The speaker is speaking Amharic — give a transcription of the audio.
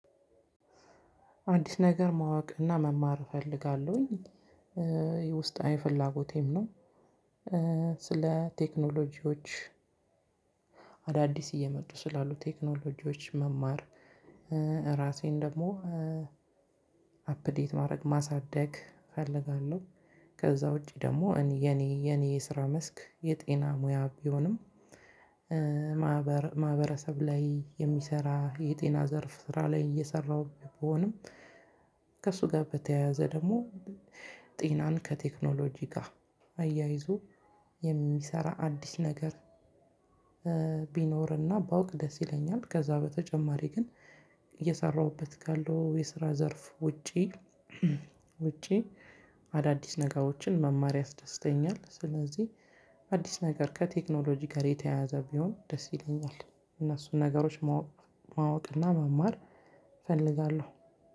አንዲት ነገር ማወቅ እና መማር እፈልጋለሁኝ የውስጣዊ ፍላጎቴም ነው። ስለ ቴክኖሎጂዎች አዳዲስ እየመጡ ስላሉ ቴክኖሎጂዎች መማር ራሴን ደግሞ አፕዴት ማድረግ ማሳደግ እፈልጋለሁ። ከዛ ውጪ ደግሞ የኔ የኔ የስራ መስክ የጤና ሙያ ቢሆንም ማህበረሰብ ላይ የሚሰራ የጤና ዘርፍ ስራ ላይ እየሰራሁኝ ቢሆንም ከእሱ ጋር በተያያዘ ደግሞ ጢናን ከቴክኖሎጂ ጋር አያይዞ የሚሰራ አዲስ ነገር ቢኖርና ባውቅ ደስ ይለኛል። ከዛ በተጨማሪ ግን እየሰራሁበት ካለው የስራ ዘርፍ ውጪ ውጪ አዳዲስ ነገሮችን መማር ያስደስተኛል። ስለዚህ አዲስ ነገር ከቴክኖሎጂ ጋር የተያያዘ ቢሆን ደስ ይለኛል። እነሱን ነገሮች ማወቅ ማወቅና መማር እፈልጋለሁ።